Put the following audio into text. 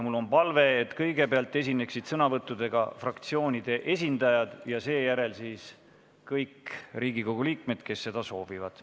Mul on palve, et kõigepealt esineksid sõnavõtuga fraktsioonide esindajad ja seejärel kõik Riigikogu liikmed, kes seda soovivad.